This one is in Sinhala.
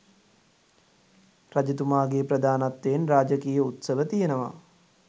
රජතුමාගේ ප්‍රධානත්වයෙන් රාජකීය උත්සව තියෙනවා.